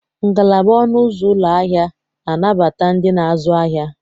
Ngalaba ọnụ ụzọ ụlọ ahịa na-anabata ndị na-azụ ahịa.